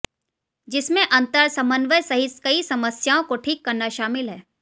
जिसमें अंतर समन्वय सहित कई समस्याओं को ठीक करना शामिल है